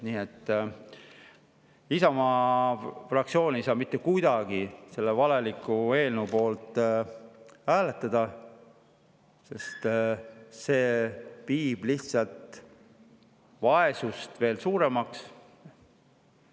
Nii et Isamaa fraktsioon ei saa mitte kuidagi selle valeliku eelnõu poolt hääletada, sest see lihtsalt teeb vaesust veel suuremaks.